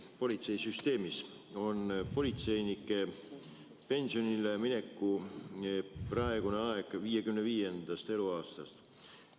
Politseisüsteemis algab politseinike pensionile mineku aeg 55. eluaastast.